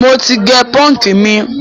mọ tí gé punk mí.